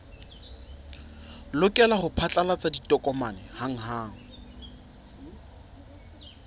lokela ho phatlalatsa ditokomane hanghang